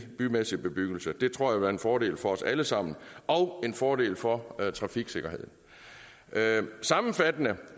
bymæssig bebyggelse det tror jeg vil være en fordel for os alle sammen og en fordel for trafiksikkerheden sammenfattende